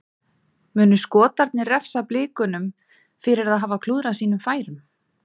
Munu Skotarnir refsa Blikunum fyrir að hafa klúðrað sínum færum?